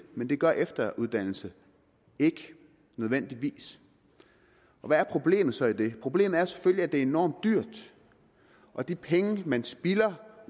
men det gør efteruddannelse ikke nødvendigvis hvad er problemet så i det problemet er selvfølgelig at det er enormt dyrt og de penge man spilder